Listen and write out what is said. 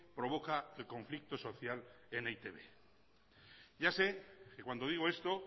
provoca el conflicto social en e i te be ya sé que cuando digo esto